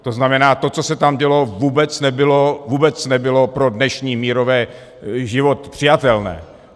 To znamená, to, co se tam dělo, vůbec nebylo pro dnešní mírový život přijatelné.